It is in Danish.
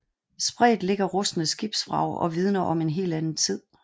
Spredt ligger rustne skibsvrag og vidner om en helt anden tid